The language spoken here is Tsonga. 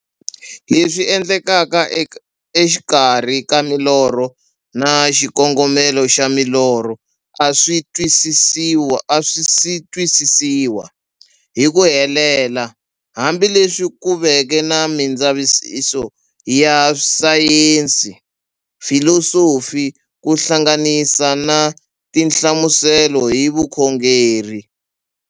Leswi endlekaka exikarhi ka milorho na xikongomelo xa milorho a swisi twisisiwa hi ku helela, hambi leswi ku veke na mindzavisiso ya sayensi, filosofi ku hlanganisa na tinhlamuselo hi vukhongori.